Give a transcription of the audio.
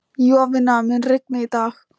Jovina, mun rigna í dag?